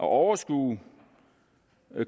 at overskue